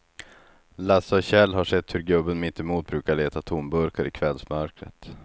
Lasse och Kjell har sett hur gubben mittemot brukar leta tomburkar i kvällsmörkret.